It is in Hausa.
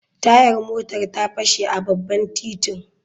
Tayar motar ta fashe a babban titin.